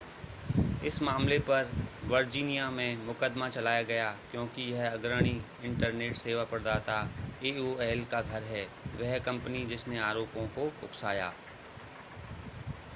इस मामले पर वर्जीनिया में मुकदमा चलाया गया क्योंकि यह अग्रणी इंटरनेट सेवा प्रदाता एओएल का घर है वह कंपनी जिसने आरोपों को उकसाया